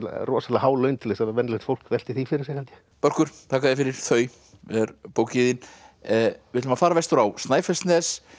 rosalega há laun til að venjulegt fólk velti því fyrir sér held ég börkur þakka þér fyrir þau er bókin þín við ætlum að fara vestur á Snæfellsnes